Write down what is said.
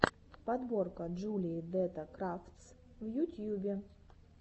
подборка джулии дэтта крафтс в ютьюбе